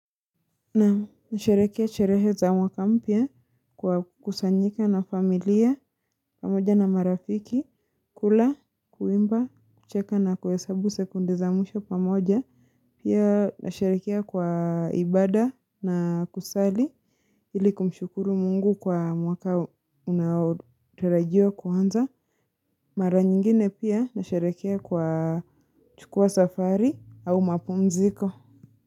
Nasherehekea sherehe za mwaka mpya kwa kukusanyika na familia pamoja na marafiki, kula, kuimba, kucheka na kuhesabu sekunde za mwisho pamoja. Pia nasheherekea kwa ibada na kusali ili kumshukuru Mungu kwa mwaka unaotarajiwa kwanza. Mara nyingine pia nasheherekea kwa chukua safari au mapumziko.